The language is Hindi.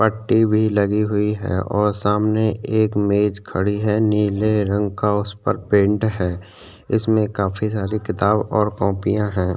पट्टी भी लगी हुई है और सामने एक मेज खड़ी है नीले रंग का उस पर पेंट है इसमें काफी सारी किताब और कोपीयां है ।